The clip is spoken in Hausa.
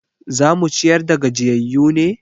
Za mu ciyar da gajiyayyu ne?